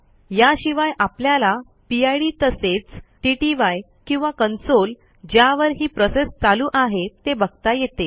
याशिवाय आपल्याला पिड तसेच टीटीवाय किंवा कन्सोल ज्यावर ही प्रोसेस चालू आहे ते बघता येते